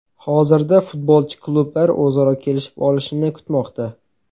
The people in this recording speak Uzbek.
Hozirda futbolchi klublar o‘zaro kelishib olishini kutmoqda.